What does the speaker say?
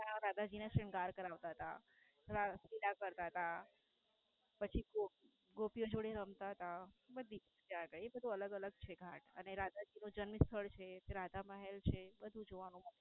માં રાધા જી ને શ્રીનગર કરાવતા હતા. થોડા વિલાપ કરતા તા. પછી ગોપીઓ જોડે રમતા હતા. બધીજ ચાલે એ બધું અલગ અલગ છે ઘાટ અને રાધાજી નું જન્મસ્થળ છે. તો રાધા મહેલ છે બધું જ છે જોવાનું.